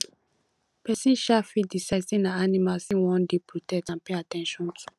persin um fit decide say na animals im won de protect and pay at ten tion to